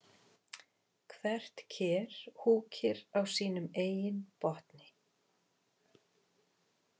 Hvert ker húkir á sínum eigin botni.